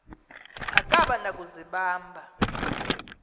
akaba na kuzibamba